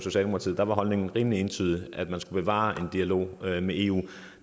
der var holdningen rimelig entydig nemlig at man skulle bevare en dialog med eu